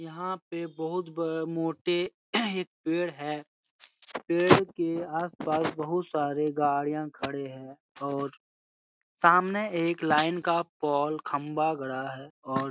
यहाँ पे बहुत ब मोटे एक पेड़ है। पेड़ के आस-पास बहुत सारे गाड़ियां खड़े हैं और सामने एक लाइन का पोल खम्भा गड़ा है और--